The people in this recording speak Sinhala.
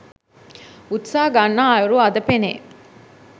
උත්සාහ ගන්නා අයුරු අද පෙනේ.